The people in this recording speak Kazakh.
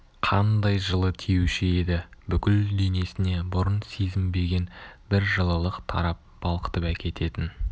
қандай жылы тиюші еді бүкіл денесіне бұрын сезінбеген бір жылылық тарап балқытып әкететін